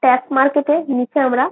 tap market -এর নিচে আমরা--